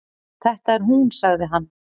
Þetta er hún sagði hann.